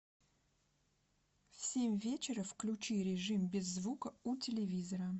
в семь вечера включи режим без звука у телевизора